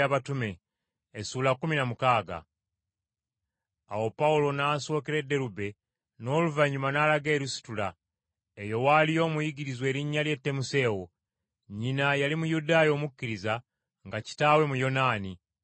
Awo Pawulo n’asookera e Derube n’oluvannyuma n’alaga e Lusitula. Eyo waaliyo omuyigirizwa erinnya lye Timoseewo. Nnyina yali Muyudaaya omukkiriza, nga kitaawe Muyonaani,